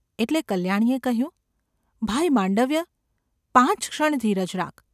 એટલે કલ્યાણીએ કહ્યું: ‘ભાઈ માંડવ્ય ! પાંચ ક્ષણ ધીરજ રાખ.